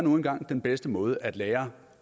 nu engang den bedste måde at lære